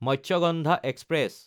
Matsyagandha express